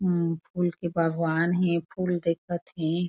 उम फूल के बगान हे फूल दिखत थे।